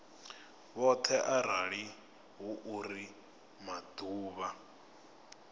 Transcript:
vhoṱhe arali hu uri maḓuvha